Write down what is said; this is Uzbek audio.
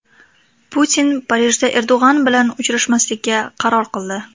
Putin Parijda Erdo‘g‘on bilan uchrashmaslikka qaror qildi .